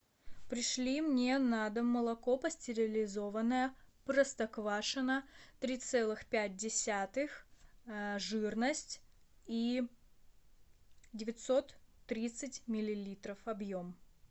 пришли мне на дом молоко пастеризованное простоквашино три целых пять десятых жирность и девятьсот тридцать миллилитров объем